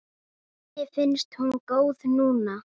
Kært vertu kvödd.